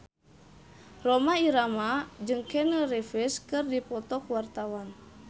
Rhoma Irama jeung Keanu Reeves keur dipoto ku wartawan